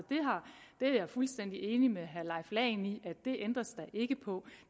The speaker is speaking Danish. jeg er fuldstændig enig med herre leif lahn jensen i at det ændres der ikke på